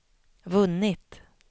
vunnit